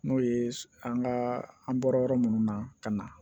N'o ye an ka an bɔra yɔrɔ munnu na ka na